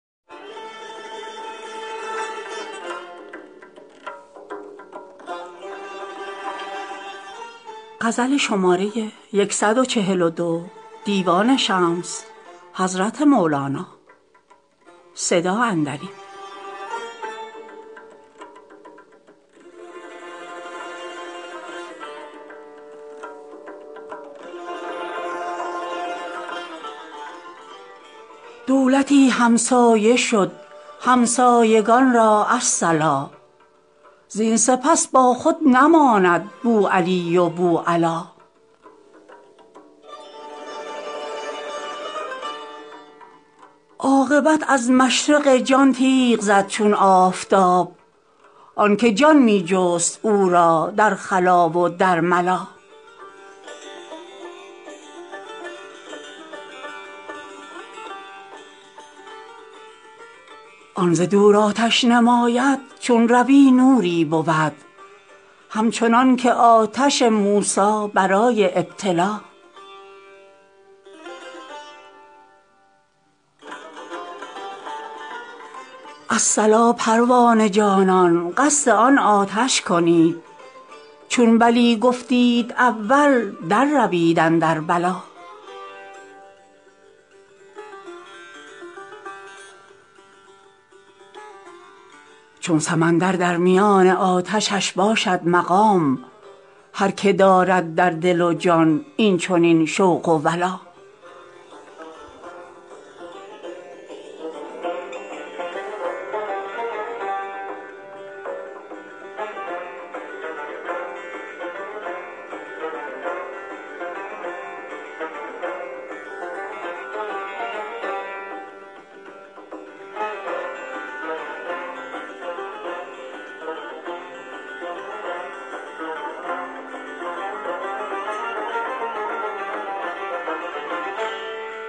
دولتی همسایه شد همسایگان را الصلا زین سپس باخود نماند بوالعلی و بوالعلا عاقبت از مشرق جان تیغ زد چون آفتاب آن که جان می جست او را در خلا و در ملا آن ز دور آتش نماید چون روی نوری بود همچنان که آتش موسی برای ابتلا الصلا پروانه جانان قصد آن آتش کنید چون بلی گفتید اول درروید اندر بلا چون سمندر در میان آتشش باشد مقام هر که دارد در دل و جان این چنین شوق و ولا